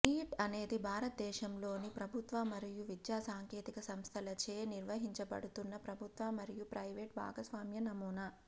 neat అనేది భారతదేశంలోని ప్రభుత్వ మరియు విద్యా సాంకేతిక సంస్థలచే నిర్వహించబడుతున్న ప్రభుత్వ మరియు ప్రైవేట్ భాగస్వామ్య నమూనా